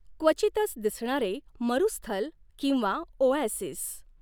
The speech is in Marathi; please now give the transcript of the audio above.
क्वचितच दिसणारे मरूस्थल किंवा ओऍसिस